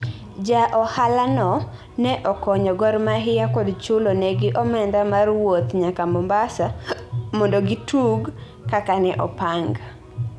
Ja ohala no ne okonyo Gor Mahia kod chulo negi omenda mar wuoth nyaka Mombasa mondogi tug kaka ne opang